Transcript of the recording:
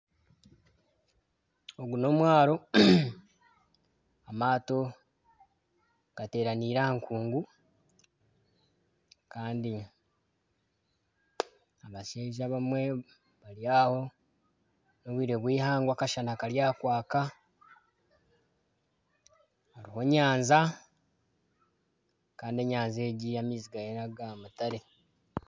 Ogu n'omwaaro amaato gateranaire aha nkungu kandi abashaija abamwe bari aho n'obwire bw'eihangwe akashana kari aha kwaka hariho enyanja kandi enyanja egi amaizi gaayo naga mutare.